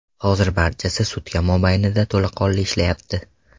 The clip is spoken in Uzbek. Hozir barchasi sutka mobaynida to‘laqonli ishlayapti.